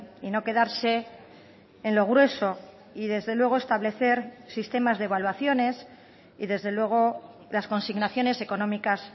y no quedarse en lo grueso y desde luego establecer sistemas de evaluaciones y desde luego las consignaciones económicas